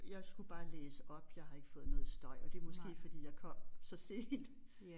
Jeg skulle bare læse op jeg har ikke fået noget støj og det måske fordi jeg kom så sent